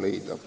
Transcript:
leida.